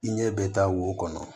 I ɲɛ bɛ taa wo kɔnɔ